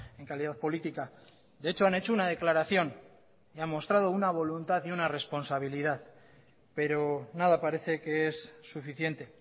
en calidad política de hecho han hecho una declaración y han mostrado una voluntad y una responsabilidad pero nada parece que es suficiente